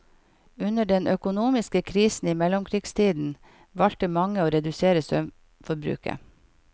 Under den økonomiske krisen i mellomkrigstiden valgte mange å redusere strømforbruket.